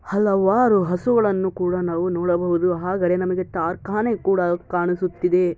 ಹಲವಾರು ಹಸುಗಳನ್ನು ಕೂಡಾ ನಾವು ನೋಡಬಹುದು ಆದರೆ ನಮಗೆ ಕಾರ್ಖಾನೆ ಕೂಡ ಕಾಣಿಸುತ್ತಿದೆ.